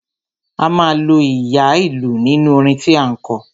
A máa lo ìyá ìlú nínú orin tí à ń kọ.